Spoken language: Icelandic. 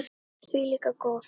En ég er því líka góð.